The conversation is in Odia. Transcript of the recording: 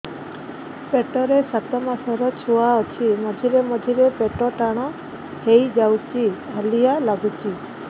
ପେଟ ରେ ସାତମାସର ଛୁଆ ଅଛି ମଝିରେ ମଝିରେ ପେଟ ଟାଣ ହେଇଯାଉଚି ହାଲିଆ ଲାଗୁଚି